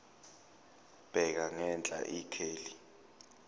bheka ngenhla ikheli